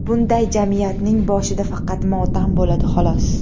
Bunday jamiyatning boshida faqat motam bo‘ladi xolos.